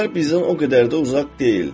Bazar bizdən o qədər də uzaq deyildi.